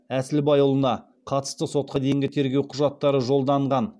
әсілбайұлына қатысты сотқа дейінгі тергеу құжаттары жолданған